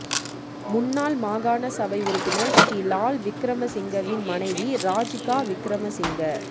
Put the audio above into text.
முன்னாள் மாகாண சபை உறுப்பினர் ஶ்ரீ லால் விக்ரமசிங்கவின் மனைவி ராஜிகா விக்ரமசிங்க